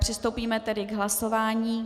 Přistoupíme tedy k hlasování.